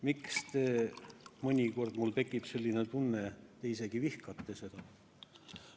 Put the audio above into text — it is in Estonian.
Miks te mõnikord, mul tekib selline tunne, isegi vihkate seda?